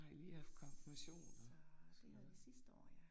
Så det havde vi sidste år ja